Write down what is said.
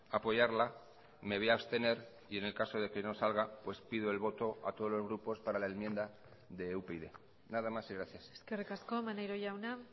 apoyarla me voy a abstener y en el caso de que no salga pues pido el voto a todos los grupos para la enmienda de upyd nada más y gracias eskerrik asko maneiro jauna